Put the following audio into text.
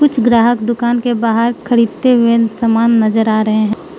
कुछ ग्राहक दूकान के बाहर खरीदते हुए सामान नजर आ रहे हैं।